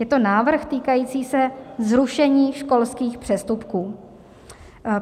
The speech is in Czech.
Je to návrh týkající se zrušení školských přestupků.